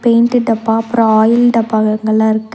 Paint டப்பா அப்பறோ oil டப்பாவெங்கள்ளா இருக்கு.